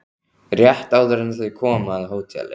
Rétt áður en þau koma að hóteli